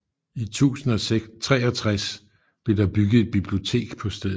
I 1063 blev der bygget et bibliotek på stedet